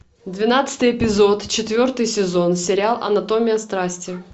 двенадцатый эпизод четвертый сезон сериал анатомия страсти